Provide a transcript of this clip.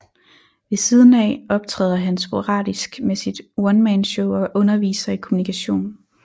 Ved siden af optræder han sporadisk med sit onemanshow og underviser i Kommunikation